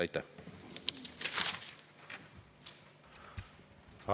Aitäh!